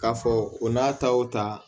K'a fɔ o n'a ta o ta